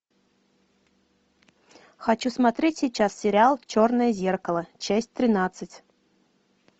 хочу смотреть сейчас сериал черное зеркало часть тринадцать